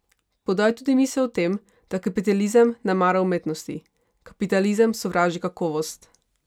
Podal je tudi misel o tem, da kapitalizem ne mara umetnosti: "Kapitalizem sovraži kakovost.